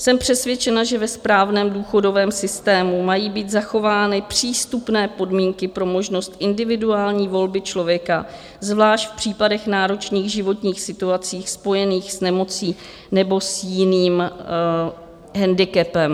Jsem přesvědčena, že ve správném důchodovém systému mají být zachovány přístupné podmínky pro možnost individuální volby člověka, zvlášť v případech náročných životních situací spojených s nemocí nebo s jiným hendikepem.